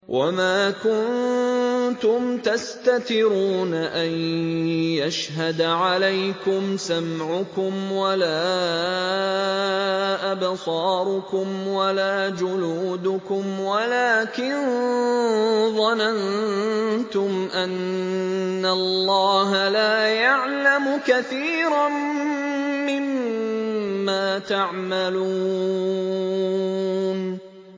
وَمَا كُنتُمْ تَسْتَتِرُونَ أَن يَشْهَدَ عَلَيْكُمْ سَمْعُكُمْ وَلَا أَبْصَارُكُمْ وَلَا جُلُودُكُمْ وَلَٰكِن ظَنَنتُمْ أَنَّ اللَّهَ لَا يَعْلَمُ كَثِيرًا مِّمَّا تَعْمَلُونَ